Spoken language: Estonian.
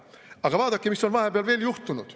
Aga vaadake, mis on vahepeal veel juhtunud.